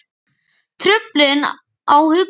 Truflun á hugsun